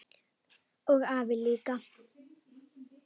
Og afi líka!